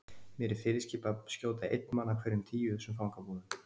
Mér er fyrirskipað að skjóta einn mann af hverjum tíu í þessum fangabúðum.